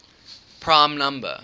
prime number